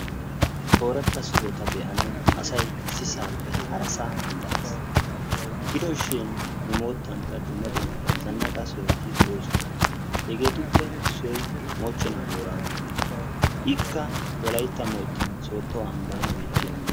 Ooratta sohota be"anawu asay issisaappe harasaa mandares. Gido shin nu moottankka dumma dumma zannaqa sohoti de"oosona. Hegeetuppe issoy moochenaa booraago gongoluwa. Ikka wolayitta moottan sooddo amban beettiyagaa.